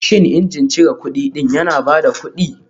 Shin injin cire kudi ɗin yana ba da kuɗi